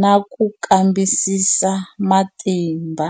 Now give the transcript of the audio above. na ku kambisisa matimba.